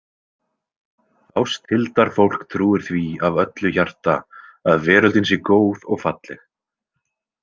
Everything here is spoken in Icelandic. Ásthildarfólk trúir því af öllu hjarta að veröldin sé góð og falleg.